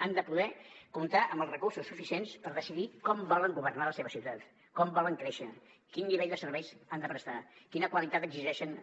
han de poder comptar amb els recursos suficients per decidir com volen governar la seva ciutat com volen créixer quin nivell de serveis han de prestar quina qualitat exigeixen